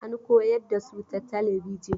An koyar da su ta talabijin.